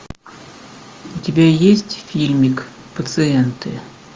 у тебя есть фильмик пациенты